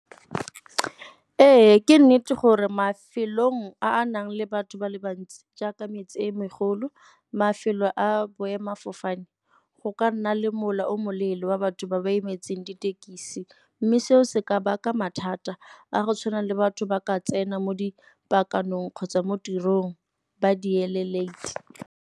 Ee, ke nnete gore mafelong a a nang le batho ba le bantsi jaaka metse e megolo. Mafelo a boemafofane, go ka nna le mola o mo leele wa batho ba ba emetseng ditekisi mme seo se ka baka mathata a go tshwana le batho ba ka tsena mo dipakaneng kgotsa mo tirong ba di .